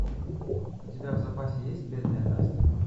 у тебя в запасе есть бедная настя